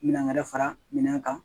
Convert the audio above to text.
Minɛn wɛrɛ fara minɛn kan